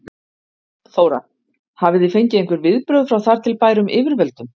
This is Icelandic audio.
Þóra: Hafið þið fengið einhver viðbrögð frá þar til bærum yfirvöldum?